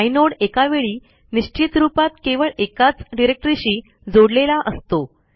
inode एकावेळी निश्चित रूपात केवळ एकाच डिरेक्टरीशी जोडलेला असतो